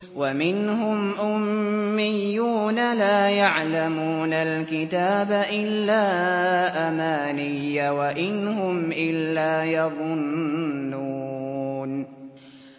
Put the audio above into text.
وَمِنْهُمْ أُمِّيُّونَ لَا يَعْلَمُونَ الْكِتَابَ إِلَّا أَمَانِيَّ وَإِنْ هُمْ إِلَّا يَظُنُّونَ